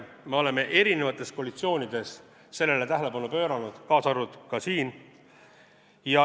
Me oleme erinevates koalitsioonides sellele tähelepanu pööranud, kaasa arvatud ka siin.